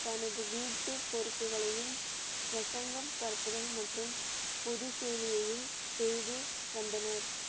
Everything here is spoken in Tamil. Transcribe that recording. தனது வீட்டு பொறுப்புகளையும், பிரசங்கம் பரப்புதல் மற்றும் பொது சேவையையும் செய்து வந்தனர்.